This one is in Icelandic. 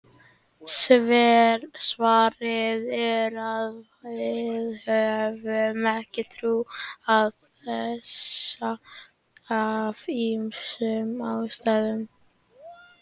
Svarið er að við höfum ekki trú á þessu af ýmsum ástæðum.